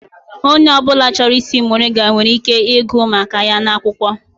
Onye ọ bụla chọrọ ịsị muringa nwere ike ịgụ maka ya n'akwụkwọ.